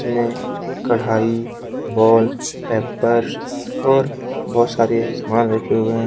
ने कढ़ाई wallpapers और बहुत सारे समान रखे हुए हैं।